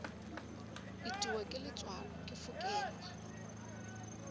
itiwa ke letswalo ke fokelwa